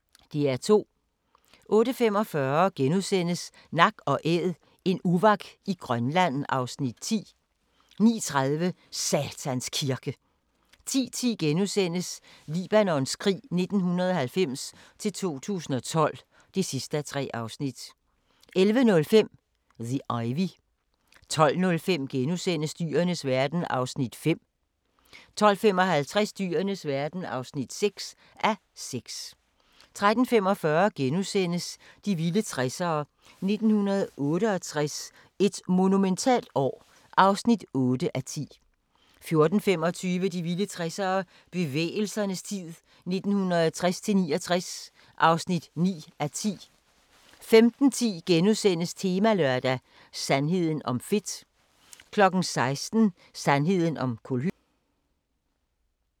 08:45: Nak & Æd – en uvak i Grønland (Afs. 10)* 09:30: Satans Kirke 10:10: Libanons krig 1990-2012 (3:3)* 11:05: The Ivy 12:05: Dyrenes verden (5:6)* 12:55: Dyrenes verden (6:6) 13:45: De vilde 60'ere: 1968 – et monumentalt år (8:10)* 14:25: De vilde 60'ere: Bevægelsernes tid 1960-69 (9:10) 15:10: Temalørdag: Sandheden om fedt * 16:00: Sandheden om kulhydrater